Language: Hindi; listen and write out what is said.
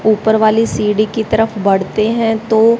ऊपर वाली सीढ़ी की तरफ बढ़ते हैं तो--